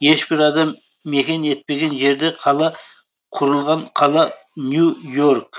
ешбір адам мекен етпеген жерде қала құрылған қала нью и орк